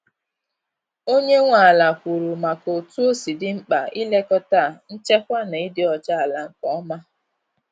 Onye nwe ala kwuru maka otú osi di mkpa ị lekọta nchekwa na ịdị ọcha ala nke ọma.